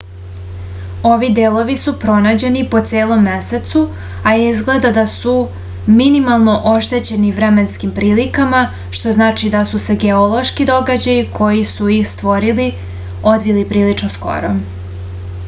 ovi delovi su pronađeni po celom mesecu a izgleda da su minimalno oštećeni vremenskim prilikama što znači da su se geološki događaju koji su ih stvorili odvili prilično skoro